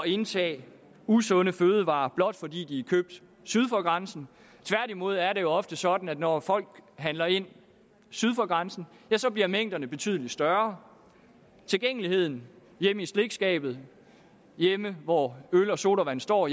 indtage usunde fødevarer blot fordi de er købt syd for grænsen tværtimod er det ofte sådan at når folk handler ind syd for grænsen bliver mængderne betydeligt større tilgængeligheden hjemme i slikskabet hjemme hvor øl og sodavand står